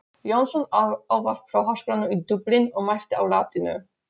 Jónsson ávarp frá Háskólanum í Dublin og mælti á latínu.